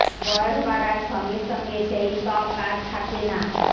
বয়স বাড়ার সঙ্গে সঙ্গে সেই ত্বক আর থাকে না